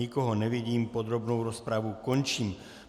Nikoho nevidím, podrobnou rozpravu končím.